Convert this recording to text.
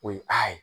O ye a ye